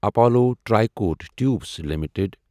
Apollo Tricoat tubes limited